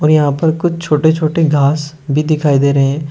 यहां पर कुछ छोटे छोटे घास भी दिखाई दे रहे हैं।